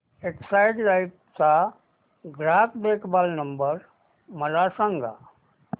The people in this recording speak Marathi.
एक्साइड लाइफ चा ग्राहक देखभाल नंबर मला सांगा